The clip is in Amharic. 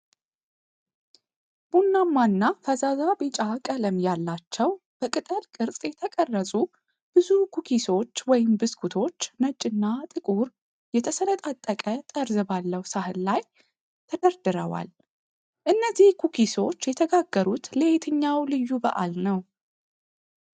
ቡናማና እና ፈዛዛ ቢጫ ቀለም ያላቸው በቅጠል ቅርጽ የተቀረጹ ብዙ ኩኪሶች (ብስኩቶች) ነጭና ጥቁር የተሰነጣጠቀ ጠርዝ ባለው ሳህን ላይ ተደርድረዋል፤ እነዚህ ኩኪሶች የተጋገሩት ለየትኛው ልዩ በዓል ነው?